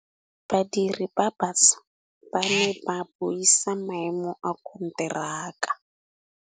Badiri ba baša ba ne ba buisa maêmô a konteraka.